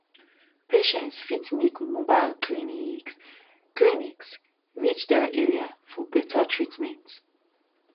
patients fit make mobile clinics clinics reach their areas for better treatment